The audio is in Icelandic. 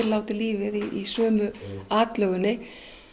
láti lífið í sömu atlögunni